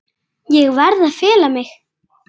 Allt honum að kenna.